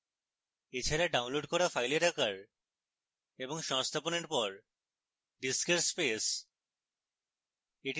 এছাড়া ডাউনলোড করা files আকার এবং সংস্থাপনের পর disk space